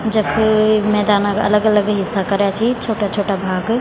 जख मैदान क अलग-अलग हिस्सा कर्या छी छोटा-छोटा भाग।